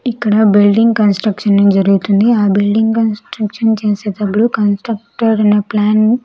ఇక్కడ building construction జరుగుతుంది ఆ బిల్డింగ్ కన్స్ట్రక్షన్ చేసేటప్పుడు కన్స్ట్రక్టడ్ అయిన ప్లాన్ .